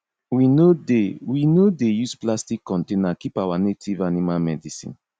we no dey we no dey use plastic container keep our native animal medicine